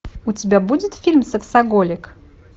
у тебя будет фильм сексоголик